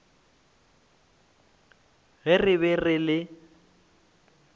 ge re be re le